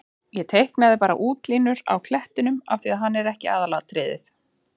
Ég teiknaði bara útlínurnar á klettinum af því að hann er ekki aðalatriðið.